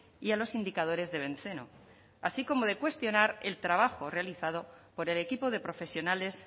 y a los indicadores de benceno así como de cuestionar el trabajo realizado por el equipo de profesionales